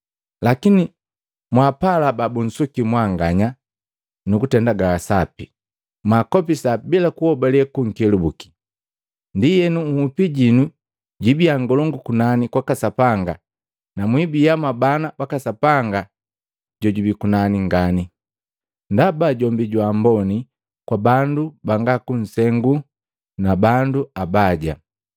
“Lakini mwaapala babunsuki mwanganya nakatende gasapi, mwaakopisa bila kunhobale kunkelubuki. Ndienu hupi jinu jibia ngolongu kunani kwaka Sapanga na mwiibia mwabana baka Sapanga jojubi kunani ngani. Ndaba jombi jwa amboni kwa bandu banga kunsengu na bandu abaya.